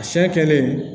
Siyɛ kɛlen